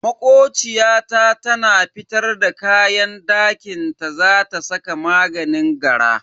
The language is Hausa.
Makociya ta tana fitar da kayan dakinta za ta saka maganin gara.